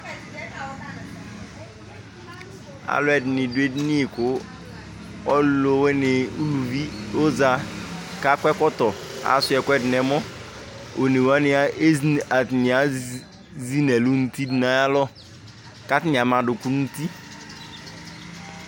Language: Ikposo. Alʋ ɛdɩnɩ dʋ edini, kʋ ɔlʋwɩnɩ uluvi ɔza, kʋ akɔ ɛkɔtɔ, asʋɩa ɛkʋɛdɩ nʋ ɛmɔ, one wanɩ ezi nʋ ɛlʋ nʋ uti dʋ nʋ ayʋ alɔ, kʋ atanɩ ama adʋkʋ nʋ uti